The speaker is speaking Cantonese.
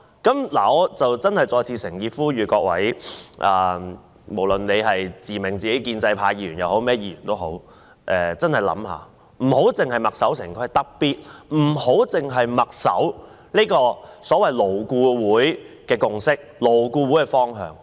我真的再次誠意呼籲各位，無論自命建制派或其他議員也真的想一下，不要墨守成規，特別不要只是墨守所謂勞顧會的共識和方向。